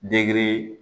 Deki